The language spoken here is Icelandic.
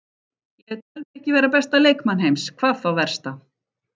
Ég tel mig ekki vera besta leikmann heims, hvað þá versta.